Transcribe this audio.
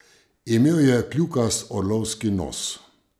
Imel je kljukast orlovski nos.